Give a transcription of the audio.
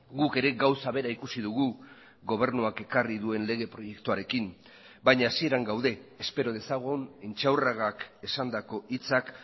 guk ere gauza bera ikusi dugu gobernuak ekarri duen lege proiektuarekin baina hasieran gaude espero dezagun intxaurragak esandako hitzak